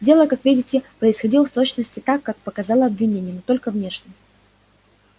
дело как видите происходило в точности так как показало обвинение но только внешне